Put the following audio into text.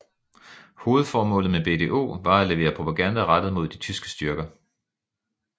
Hovedformålet med BDO var at levere propaganda rettet mod de tyske styrker